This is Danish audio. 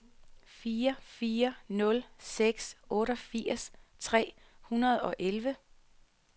fire fire nul seks otteogfirs tre hundrede og elleve